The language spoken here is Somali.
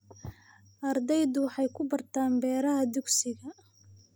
Ardaydu waxay ku bartaan beeraha dugsiga.